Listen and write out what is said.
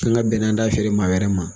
An ga bɛnna an d'a feere maa wɛrɛ ma.